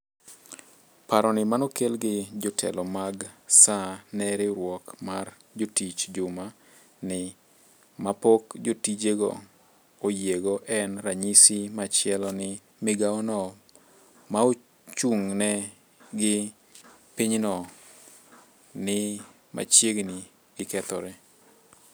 Paro ni manokel gi jotelo mag SAA ne riwruok mar jotich juma ni ma pok jotijego oyiego en ranyisi machielo ni migaono maochung'ne gi pinyno ni machiegni gi kethore.